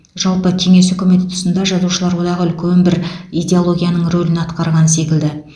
жалпы кеңес үкіметі тұсында жазушылар одағы үлкен бір идеологияның рөлін атқарған секілді